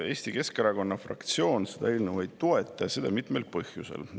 Eesti Keskerakonna fraktsioon seda eelnõu ei toeta ja seda mitmel põhjusel.